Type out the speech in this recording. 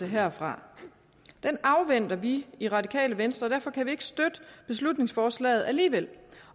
herfra den afventer vi i radikale venstre og derfor kan vi ikke støtte beslutningsforslaget alligevel